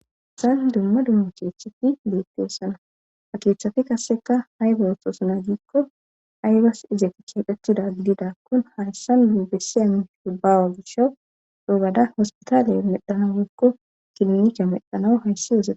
isan dumma dumma cheetheti beette essana ha keeththafi kasseka hay bawothosna giikko aybas izatti keeqetida gidida kun hayssan bibeseya shubbaawa gisha dhogada hospitaaliye medhana geekko kilnika medhanawu hayssi yosaa